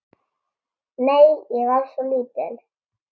Nei, ég var svo lítil.